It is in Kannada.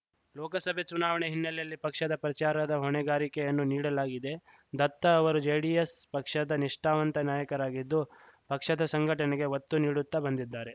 ಲೋಕಸಭೆ ಚುನಾವಣೆ ಹಿನ್ನಲೆಯಲ್ಲಿ ಪಕ್ಷದ ಪ್ರಚಾರದ ಹೊಣೆಗಾರಿಕೆಯನ್ನು ನೀಡಲಾಗಿದೆ ದತ್ತ ಅವರು ಜೆಡಿಎಸ್‌ ಪಕ್ಷದ ನಿಷ್ಠಾವಂತ ನಾಯಕರಾಗಿದ್ದು ಪಕ್ಷದ ಸಂಘಟನೆಗೆ ಒತ್ತು ನೀಡುತ್ತಾ ಬಂದಿದ್ದಾರೆ